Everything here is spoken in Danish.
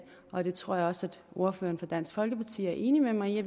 og det tror jeg også at ordføreren for dansk folkeparti er enig med mig i